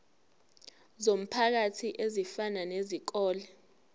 zomphakathi ezifana nezikole